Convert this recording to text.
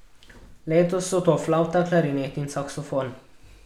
Letos so to flavta, klarinet in saksofon.